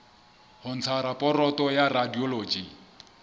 ho ntsha raporoto ya radiology